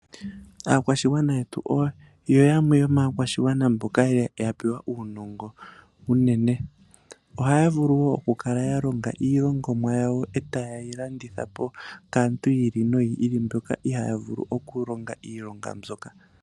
Aakwashigwana yetu oyo yamwe yomaakwashigwana mboka ya pewa uunongo unene ohaya vulu wo okulonga iilongomwa yawo etayeyi landitha po kaantu mboka ihaa vulu okulonga iilonga mbyoka.